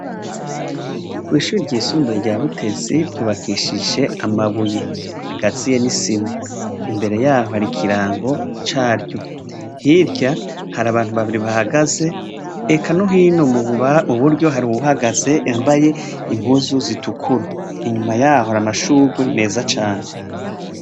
Kw’ishure ryisumbuye rya Butezi ryubakishije amabuye agatiye n’isima, imbere yaho hari ikirango caryo hirya hari abantu babiri bahagaze eka no hino mu buryo hari uwuhagaze yambaye impuzu zitukura inyuma yaho hari amashugwe meza cane.